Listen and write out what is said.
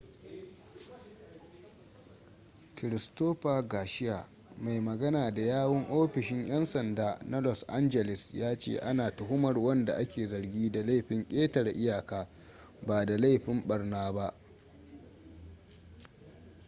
christopher garcia mai magana da yawun ofishin 'yan sanda na los angeles ya ce ana tuhumar wanda ake zargi da laifin ketare iyaka ba da laifin barna ba